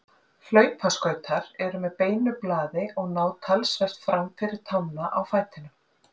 Hlaupaskautar eru með beinu blaði og ná talsvert fram fyrir tána á fætinum.